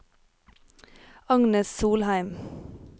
Agnes Solheim